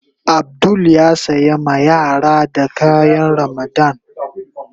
Abdul ya sayi ma yaran da kayan Ramadan.